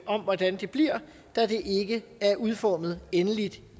om hvordan det bliver da det ikke er udformet endeligt